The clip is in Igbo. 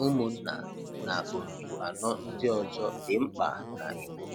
Ụmụnna na otu anọ ndị ọzọ dị mkpa na Igbo